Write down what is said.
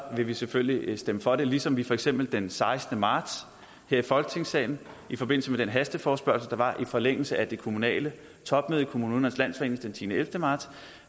vil vi selvfølgelig stemme for det ligesom vi for eksempel den sekstende marts her i folketingssalen i forbindelse med den hasteforespørgsel der var i forlængelse af det kommunale topmøde i kommunernes landsforening den tiende og ellevte marts